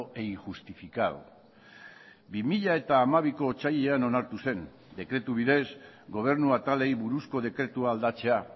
e injustificado bi mila hamabiko otsailean onartu zen dekretu bidez gobernu atalei buruzko dekretua aldatzea